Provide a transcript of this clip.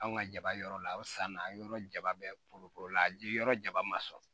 Anw ka jaba yɔrɔ la o san na an yɔrɔ jaba bɛɛ polopole la yiri yɔrɔ jaba ma sɔrɔ